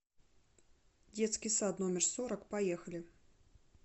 детский сад номер сорок поехали